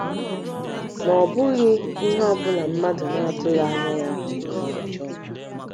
Ma, ọ bụghị ihe niile mmadụ na - atụghị anya ya bụ ihe ọjọọ.